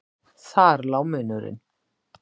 Þar lá munurinn.